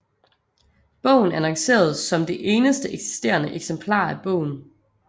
Bogen annonceredes som det eneste eksisterende eksemplar af bogen